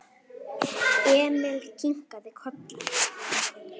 Emil kinkaði kolli.